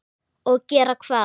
Og gera hvað?